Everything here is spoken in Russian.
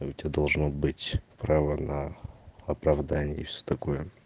я у тебя должно быть права на оправдание и всё такое